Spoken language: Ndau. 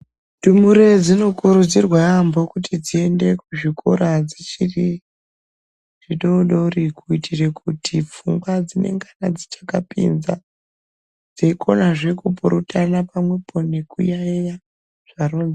Ndumure dzinokurudzirwa yambo kuti dziyende kuzvikora dzichiri dzidodori kuyitire kuti pfungwa dzinengana dzichakapinza dzeyikona zve kupuratana pamwepo nekuyayiya.